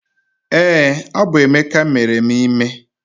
Ee, ọ bụ Emeka mere m ime